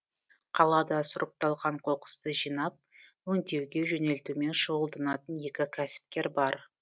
қалада сұрыпталған қоқысты жинап өңдеуге жөнелтумен шұғылданатын екі кәсіпкер бар